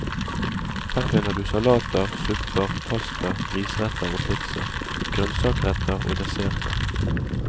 Her finner du salater, supper, pasta, risretter og pizza, grønnsakretter og desserter.